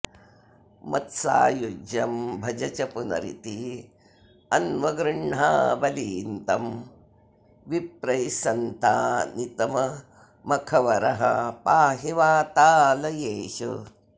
मत्सायुज्यं भज च पुनरित्यन्वगृह्णा बलिं तं विप्रैस्सन्तानितमखवरः पाहि वातालयेश